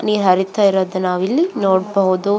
ನೀರ್ ಹರಿತ ಇರೋದನ್ನ ನಾವು ಇಲ್ಲಿ ನೋಡಬಹುದು.